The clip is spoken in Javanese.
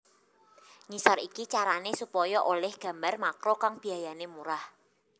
Ngisor iki carané supaya olih gambar makro kang biayané murah